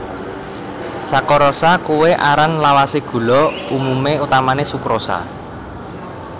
Sakarosa kuwé aran lawasé gula umumé utamané sukrosa